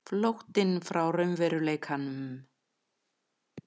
Flóttinn frá raunveruleikanum.